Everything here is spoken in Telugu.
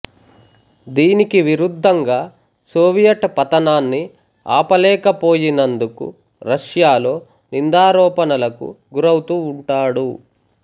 దీనికి విరుద్ధంగా సోవియట్ పతనాన్ని ఆపలేక పోయినందుకు రష్యాలో నిందారోపణలకు గురౌతూ ఉంటాడు